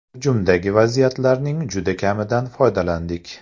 Hujumdagi vaziyatlarning juda kamidan foydalandik.